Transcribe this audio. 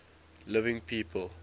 living people